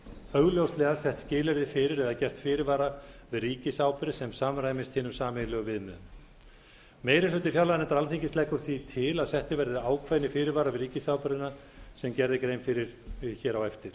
augljóslega sett skilyrði fyrir eða gert fyrirvara við ríkisábyrgð sem samræmist hinum sameiginlegu viðmiðum meiri hluti fjárlaganefndar alþingis leggur því til að settir verði ákveðnir fyrirvarar við ríkisábyrgðina sem gerð er grein fyrir hér á eftir